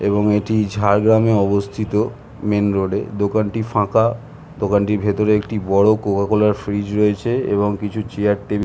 এবং এটি ঝাড়গ্রামে অবস্থিত মেন রোড -এ দোকানটি ফাঁকা দোকানটির ভিতরে একটি বড় কোকাকোলার ফ্ৰীজ রয়েছে এবং কিছু চেয়ার টেবিল ।